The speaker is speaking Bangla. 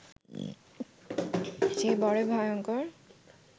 সে বড়ই ভয়ঙ্কর